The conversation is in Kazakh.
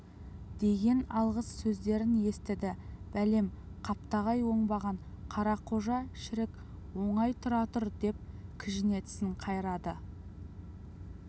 деген алғыс сөздерін естіді бәлем қаптағай оңбаған қарақожа шірік оңай тұра тұр деп кіжіне тісін қайрады